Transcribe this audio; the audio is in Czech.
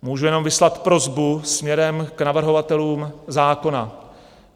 Můžu jenom vyslat prosbu směrem k navrhovatelům zákona.